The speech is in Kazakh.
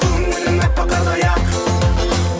көңілім әппақ қардай ақ